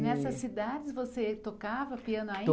E nessas cidades você tocava piano ainda?